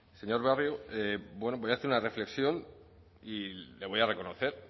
señor barrio bueno voy a hacer una reflexión y le voy a reconocer